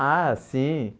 Ah, sim.